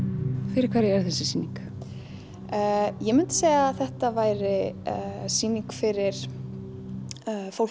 fyrir hverja er þessi sýning ég myndi segja að þetta væri sýning fyrir fólk